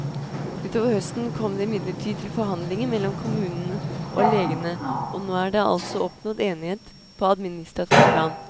Utover høsten kom det imidlertid til forhandlinger mellom kommunen og legene, og nå er det altså oppnådd enighet på administrativt plan.